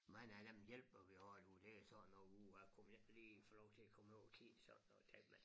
Mange af dem hjælper vi og du det sådan noget uha kunne vi ikke lige få lov til at komme over og kigge sådan og tale med